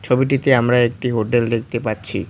ছবিটিতে আমরা একটি হোটেল দেখতে পাচ্ছি।